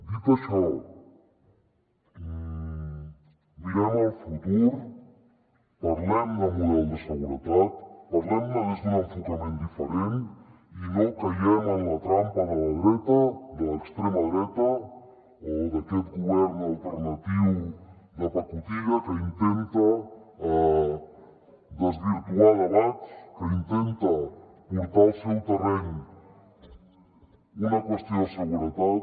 dit això mirem el futur parlem de model de seguretat parlem ne des d’un enfocament diferent i no caiguem en la trampa de la dreta de l’extrema dreta o d’aquest govern alternatiu de pacotilla que intenta desvirtuar debats que intenta portar al seu terreny una qüestió de seguretat